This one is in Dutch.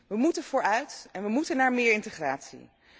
We moeten vooruit en we moeten naar meer integratie.